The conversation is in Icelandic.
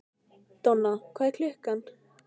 Donna, hvað er klukkan?